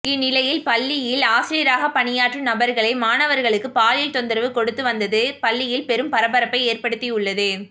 இந்நிலையில் பள்ளியில் ஆசிரியராகப் பணியாற்றும் நபர்களே மாணவர்களுக்கு பாலியல் தொந்தரவு கொடுத்து வந்தது பள்ளியில் பெரும் பரபரப்பை ஏற்படுத்தியுள்ளது